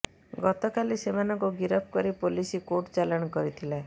ଗତକାଲି ସେମାନଙ୍କୁ ଗିରଫ କରି ପୋଲିସ୍ କୋର୍ଟ ଚାଲାଣ କରିଥିଲା